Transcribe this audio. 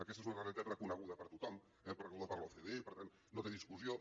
aquesta és una realitat reconeguda per tothom eh reconeguda per l’ocde per tant no té discussió